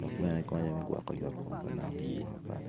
dok bene konyo me gwoko yot kom pa dano i yo mapol..